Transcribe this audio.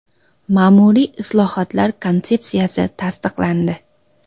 Ma’muriy islohotlar konsepsiyasi tasdiqlandi.